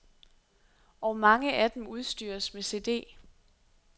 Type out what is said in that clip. Og mange af dem udstyres med cd.